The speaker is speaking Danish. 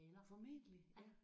Formentlig ja